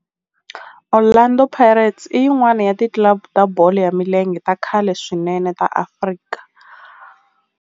Orlando Pirates i yin'wana ya ti club ta bolo ya milenge ta khale swinene ta Afrika.